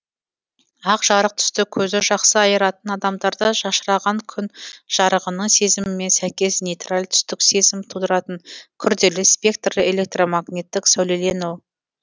ақ жарық түсті көзі жақсы айыратын адамдарда шашыраған күн жарығының сезімімен сәйкес нейтраль түстік сезім тудыратын күрделі спектрлі электромагниттік сәулелену